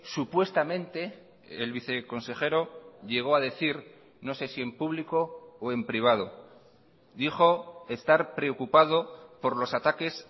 supuestamente el viceconsejero llegó a decir no sé si en público o en privado dijo estar preocupado por los ataques